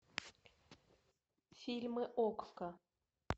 фильмы окко